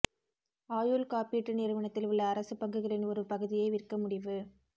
ஆயுள் காப்பீட்டு நிறுவனத்தில் உள்ள அரசுப் பங்குகளின் ஒரு பகுதியை விற்க முடிவு